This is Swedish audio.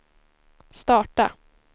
starta